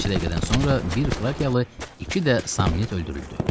Bir neçə dəqiqədən sonra bir frakiyalı, iki də samnit öldürüldü.